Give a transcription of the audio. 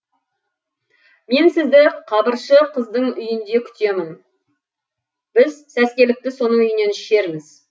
мен сізді қабыршы қыздың үйінде күтемін біз сәскелікті соның үйінен ішерміз